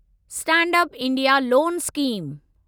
stand up India loan scheme